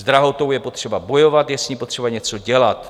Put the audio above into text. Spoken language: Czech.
S drahotou je potřeba bojovat, je s ní potřeba něco dělat.